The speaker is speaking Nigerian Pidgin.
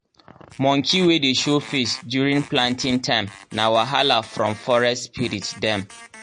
monkey wey dey show face during planting time na wahala from forest spirit dem.